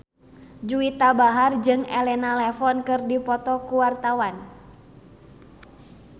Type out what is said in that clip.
Juwita Bahar jeung Elena Levon keur dipoto ku wartawan